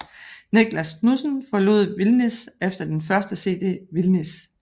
Niclas Knudsen forlod Vildnis efter den første CD Vildnis